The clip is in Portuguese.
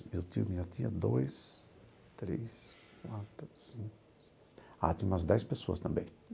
Meu tio, minha tia, dois, três, quatro, cinco, seis... Ah, tinha umas dez pessoas também.